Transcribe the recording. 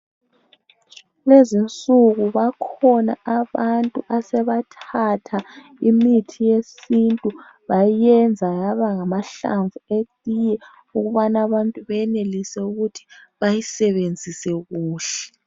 Kulezi insuku bakhona abantu asebathatha imithi yesintu bayenza yaba ngamahlamvu eyinye ukubana abantu benelise ukuthi bayisebenzise kuhle.